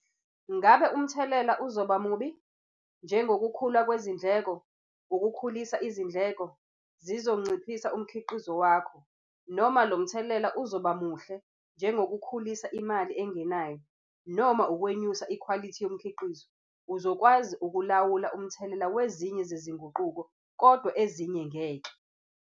Ngabe umthelela uzoba mubi - njengokukhula kwezindleko, ukukhulisa izindleko, zizonciphisa umkhiqizo wakho, noma lo mthelela uzoba muhle - njengokukhulisa imali engenayo, noma ukwenyusa ikhwalithi yomkhiqizo. Uzokwazi ukulawula umthelela wezinye zezinguquko kodwa ezinye ngeke.